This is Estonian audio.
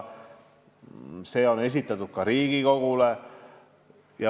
See eelarve on esitatud ka Riigikogule.